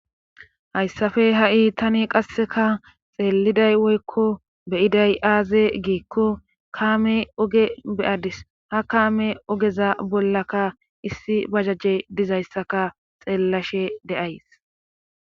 hayssafe ha7i tani qasseka xeeliday woykko beyiday aaze giikko kaame oge beadis ha kaame ogeza bollaka issi bajajje dizayssaka xeellashe deays